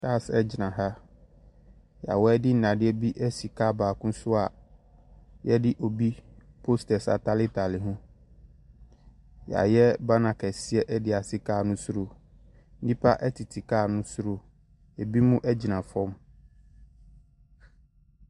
Cars gyina ha, na wɔde nnadeɛ bi asi kaa baako so a wɔde obi posters ataretare ho. Wɔayɛ banner kɛseɛ de asi kaa no soro. Nnipa tete kaa no soro. Ebinom gyina fam.